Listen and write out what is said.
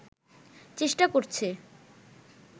চেষ্টা করছে